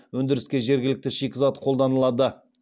өндіріске жергілікті шикізат қолданылады